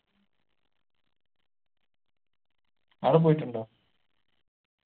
ആട പോയിറ്റുണ്ടോ